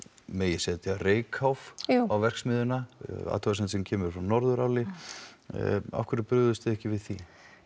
megi setja reykháf á verksmiðjuna athugasemd sem kemur frá Norðuráli brugðust þið ekki við því